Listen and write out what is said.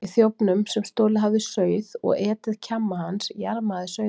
Í þjófnum, sem stolið hafði sauð og etið kjamma hans, jarmaði sauðurinn.